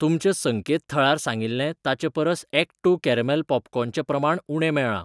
तुमच्या संकेतथळार सांगिल्लें ताचे परस ॲक्ट टू कॅरमेल पॉपकॉर्न चें प्रमाण उणें मेळ्ळां.